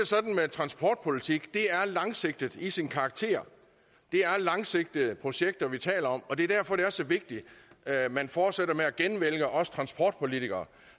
sådan med transportpolitik at er langsigtet i sin karakter det er langsigtede projekter vi taler om og det er derfor det er så vigtigt at man fortsætter med at genvælge os transportpolitikere